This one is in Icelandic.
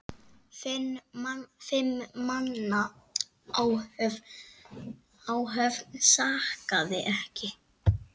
Fimm manna áhöfn sakaði ekki.